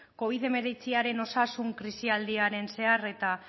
covid hemeretziaren osasun krisialdiaren zehar eta